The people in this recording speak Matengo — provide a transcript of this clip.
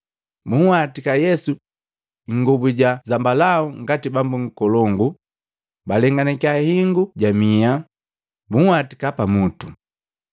Bunhwatika Yesu ingobu ja zambalau ngati Bambu Nkolongu, balenganakiya hingu ja miha, bunhwatika pamutu.